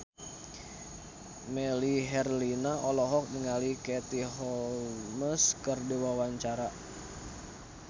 Melly Herlina olohok ningali Katie Holmes keur diwawancara